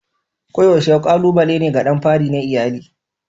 Koyaushe kalubale ne ga ɗan fari na iyali.